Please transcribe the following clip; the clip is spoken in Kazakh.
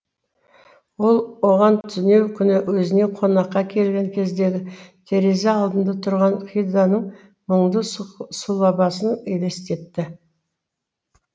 ол оған түнеу күні өзіне қонаққа келген кездегі терезе алдында тұрған хидэнің мұңды сұлабасын елестетті